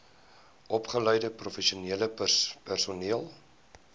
opgeleide professionele personeel